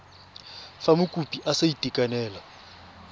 fa mokopi a sa itekanela